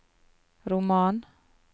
roman